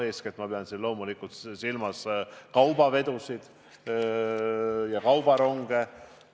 Eeskätt pean ma siin loomulikult silmas kaubavedusid ja kaubaronge.